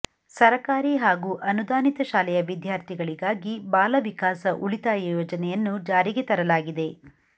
ಸರಕಾರಿ ಹಾಗೂ ಅನುದಾನಿತ ಶಾಲೆಯ ವಿದ್ಯಾಾರ್ಥಿಗಳಿಗಾಗಿ ಬಾಲವಿಕಾಸ ಉಳಿತಾಯ ಯೋಜನೆಯನ್ನು ಜಾರಿಗೆ ತರಲಾಗಿದೆ